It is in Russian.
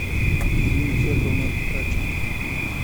ирина федоровна радченко